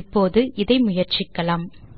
இப்போது இதை முயற்சிக்கலாம்